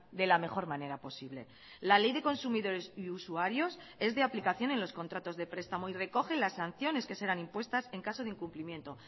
de la mejor manera posible la ley de consumidores y usuarios es de aplicación en los contratos de prestamo y recoge las sanciones que serán impuestas en caso de incumplimiento